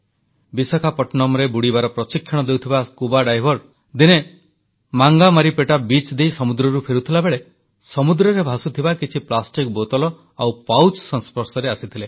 ବିଶାଖାପଟ୍ଟନମରେ ବୁଡ଼ିବାର ପ୍ରଶିକ୍ଷଣ ଦେଉଥିବା ସ୍କୁବା ଡାଇଭର୍ସ ଦିନେ ମାଙ୍ଗାମାରିପେଟା ଉପକୂଳ ଦେଇ ସମୁଦ୍ରରୁ ଫେରୁଥିବା ବେଳେ ସମୁଦ୍ରରେ ଭାସୁଥିବା କିଛି ପ୍ଲାଷ୍ଟିକ ବୋତଲ ଆଉ ପାଉଚ ସଂସ୍ପର୍ଶରେ ଆସିଥିଲେ